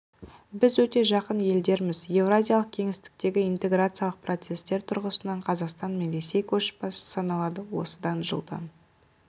біз өте жақын елдерміз еуразиялық кеңістіктегі интеграциялық процестер тұрғысынан қазақстан мен ресей көшбасшы саналады осыдан жылдан